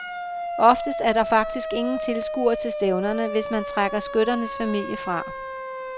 Oftest er der faktisk ingen tilskuere til stævnerne, hvis man trækker skytternes familie fra.